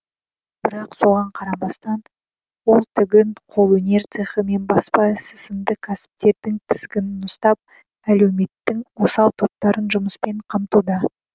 бірақ соған қарамастан ол тігін қолөнер цехі мен баспа ісі сынды кәсіптердің тізгінін ұстап әлеуметтің осал топтарын жұмыспен қамтуда